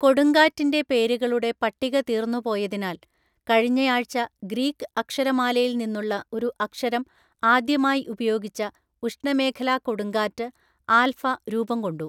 കൊടുങ്കാറ്റിന്‍റെ പേരുകളുടെ പട്ടിക തീർന്നുപോയതിനാൽ കഴിഞ്ഞയാഴ്ച ഗ്രീക്ക് അക്ഷരമാലയിൽ നിന്നുള്ള ഒരു അക്ഷരം ആദ്യമായി ഉപയോഗിച്ച ഉഷ്ണമേഖലാ കൊടുങ്കാറ്റ് ആൽഫ രൂപംകൊണ്ടു.